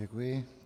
Děkuji.